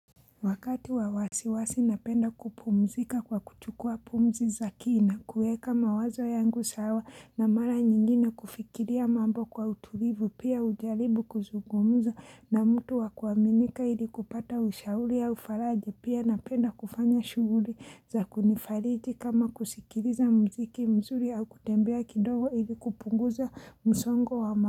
Wakati wa wawasiwasi napenda kupumzika kwa kuchukua pumzi za kina kuweka mawazo yangu sawa na mara nyingine kufikiria mambo kwa utulivu pia hujaribu kuzungumuza na mtu wakuaminika ili kupata ushauri au faraja pia napenda kufanya shughuli za kunifariji kama kusikiliza muziki mzuri au kutembea kidogo ili kupunguza msongo wa mawazo.